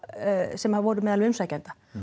sem voru meðal umsækjenda